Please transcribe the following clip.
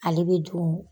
Ale bɛ dun